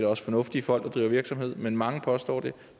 også fornuftige folk der driver virksomhed men mange påstår det